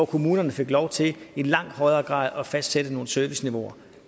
kommunerne fik lov til i langt højere grad at fastsætte nogle serviceniveauer